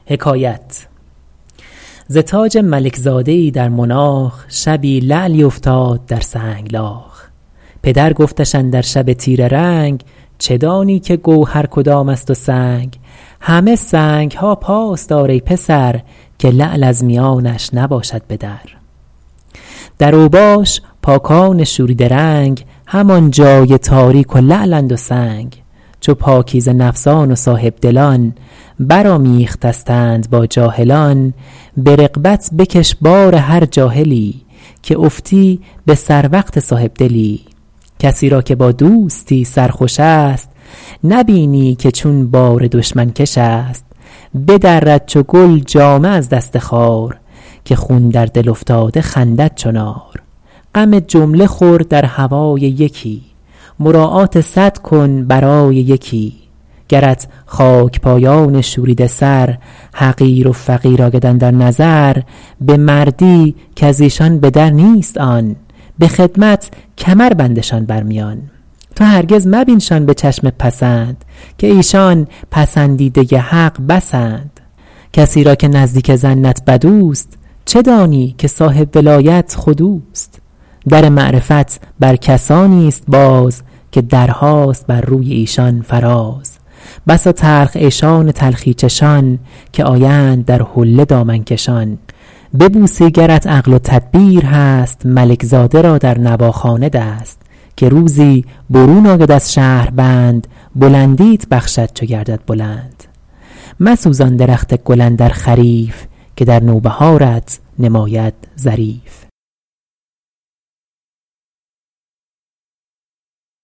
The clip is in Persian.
ز تاج ملک زاده ای در مناخ شبی لعلی افتاد در سنگلاخ پدر گفتش اندر شب تیره رنگ چه دانی که گوهر کدام است و سنگ همه سنگ ها پاس دار ای پسر که لعل از میانش نباشد به در در اوباش پاکان شوریده رنگ همان جای تاریک و لعلند و سنگ چو پاکیزه نفسان و صاحبدلان بر آمیخته ستند با جاهلان به رغبت بکش بار هر جاهلی که افتی به سر وقت صاحبدلی کسی را که با دوستی سرخوش است نبینی که چون بار دشمن کش است بدرد چو گل جامه از دست خار که خون در دل افتاده خندد چو نار غم جمله خور در هوای یکی مراعات صد کن برای یکی گرت خاک پایان شوریده سر حقیر و فقیر آید اندر نظر به مردی کز ایشان به در نیست آن به خدمت کمر بندشان بر میان تو هرگز مبینشان به چشم پسند که ایشان پسندیده حق بسند کسی را که نزدیک ظنت بد اوست چه دانی که صاحب ولایت خود اوست در معرفت بر کسانی است باز که درهاست بر روی ایشان فراز بسا تلخ عیشان تلخی چشان که آیند در حله دامن کشان ببوسی گرت عقل و تدبیر هست ملک زاده را در نواخانه دست که روزی برون آید از شهربند بلندیت بخشد چو گردد بلند مسوزان درخت گل اندر خریف که در نوبهارت نماید ظریف